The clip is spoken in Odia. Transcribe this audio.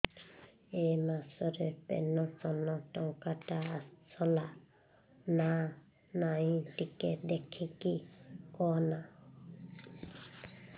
ଏ ମାସ ରେ ପେନସନ ଟଙ୍କା ଟା ଆସଲା ନା ନାଇଁ ଟିକେ ଦେଖିକି କହନା